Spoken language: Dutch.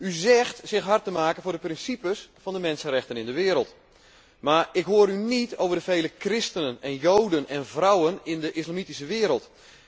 U zegt zich hard te maken voor de principes van de mensenrechten in de wereld, maar ik hoor u niet over de vele christenen, joden en vrouwen in de islamitische wereld.